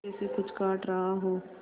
जैसे कुछ काट रहा हो